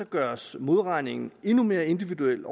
gøres modregningen endnu mere individuel